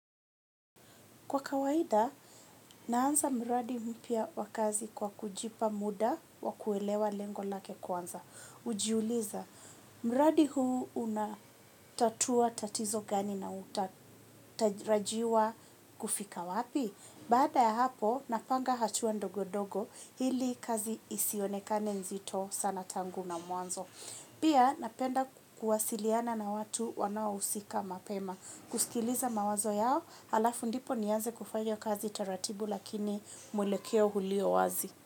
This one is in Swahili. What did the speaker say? Kwa kawaida, naanza mradi mpya wa kazi kwa kujipa muda wa kuelewa lengo lake kwanza. Ujiuliza mradi huu unatatua tatizo gani na utarajiwa kufika wapi. Baada ya hapo, napanga hatua ndogo-ndogo ili kazi isionekane nzito sana tangu na mwanzo. Pia, napenda kuwasiliana na watu wanaohusika mapema. Kusikiliza mawazo yao alafu ndipo nianze kufanya kazi taratibu lakini mwelekeo ulio wazi.